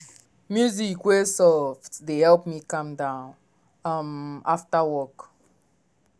music wey soft dey help me calm down um after work.